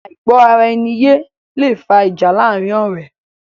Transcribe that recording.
Àìgbọ́ ara ẹni yé lẹ fa ìjà láàrin ọ̀rẹ́